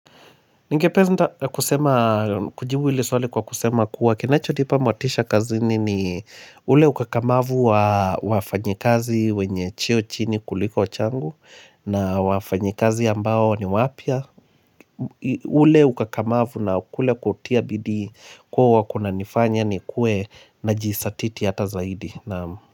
Ningepeza kusema kujibu hili swali kwa kusema kuwa kinachonipa motisha kazini ni ule ukakamavu wa wafanyikazi wenye cheo chini kuliko changu na wafanyikazi ambao ni wapya ule ukakamavu na kule kutia bidii kuwa huwa kunanifanya nikuwe najizatiti hata zaidi, naam.